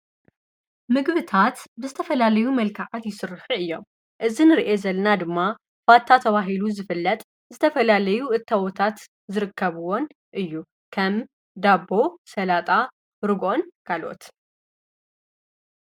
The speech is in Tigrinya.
ምግብታት ብዝተፈላለዩ መልካዓት ይሥርሕ እዮም እዝን ርአ ዘለና ድማ ፋታ ተዋሂሉ ዝፍለጥ ዝተፈላለዩ እተወታት ዝርከብዎን እዩ ከም ዳቦ ሰላጣ ርጎን ካልኦት ::